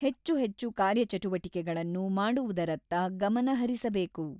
ಹೆಚ್ಚು ಹೆಚ್ಚು ಕಾರ್ಯಚಟುವಟಿಕೆಗಳನ್ನು ಮಾಡುವುದರತ್ತ ಗಮನ ಹರಿಸಬೇಕು.